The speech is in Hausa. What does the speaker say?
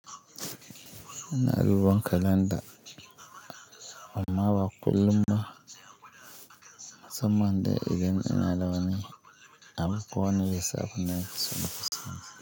Ina duban kalanda amma ba kullum ba, musamman de idan ina zaune, abu ko wani lissafi ne ke son Sani.